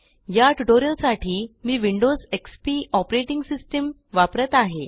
या ट्यूटोरियल साठी मी विंडोज एक्सपी ऑपरेटिंग सिस्टम वापरत आहे